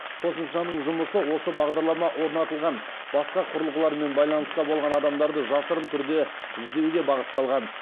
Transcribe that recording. қосымшаның жұмысы сол бағдарлама орнатылған басқа құрылғылармен байланыста болған адамдарды жасырын түрде іздеуге бағытталған